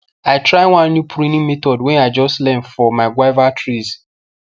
i try one new pruning method wey i just learn for my guava trees